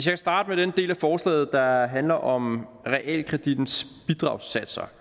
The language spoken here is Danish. vil starte med den del af forslaget der handler om realkredittens bidragssatser